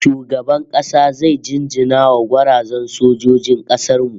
Shugaban kasa zai jinjina wa gwarazan sojojin kasar mu